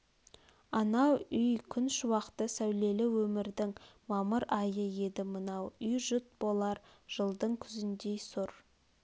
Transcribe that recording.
анау үй күн шуақты сәулелі өмрдің мамыр айы еді мынау үй жұт болар жылдың күзіндей сұр